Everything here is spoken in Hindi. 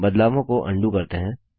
बदलावों को अन्डू करते हैं